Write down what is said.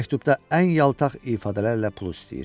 Bu məktubda ən yaltaq ifadələrlə pul istəyir.